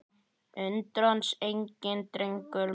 Undrast enginn, drengur minn.